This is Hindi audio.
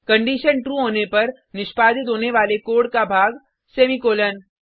कंडिशन ट्रू होने पर निष्पादित होने वाले कोड का भाग सेमीकॉलन